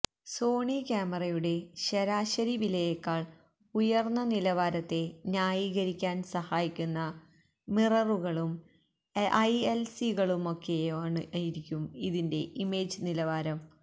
Sony ക്യാമറയുടെ ശരാശരി വിലയേക്കാൾ ഉയർന്ന നിലവാരത്തെ ന്യായീകരിക്കാൻ സഹായിക്കുന്ന മിററുകളും ഐഎൽസികളുമൊക്കെയായിരിക്കും ഇതിന്റെ ഇമേജ് നിലവാരം